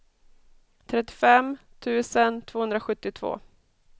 trettiofem tusen tvåhundrasjuttiotvå